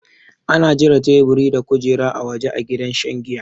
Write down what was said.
Ana jira taiburi da kujera a waja a gidan shan jiya